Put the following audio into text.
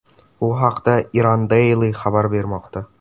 Bu haqda Iran Daily xabar bermoqda .